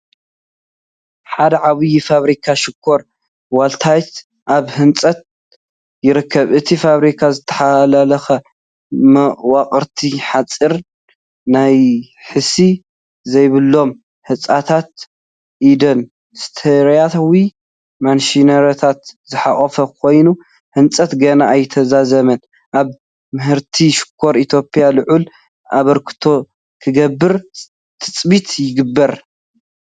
ሓደ ዓብዪ ፋብሪካ ሽኮር ወልታይት ኣብ ህንፀት ይርከብ። እቲ ፋብሪካ ዝተሓላለኹ መዋቕራት ሓጺን፡ ናሕሲ ዘይብሎም ህንጻታትን ኢንዱስትርያዊ ማሽነሪታትን ዝሓቖፈ ኮይኑ፡ ህንጸቱ ገና ኣይተዛዘመን። ኣብ ምህርቲ ሽኮር ኢትዮጵያ ልዑል ኣበርክቶ ክገብር ትፅቢት ይግበር።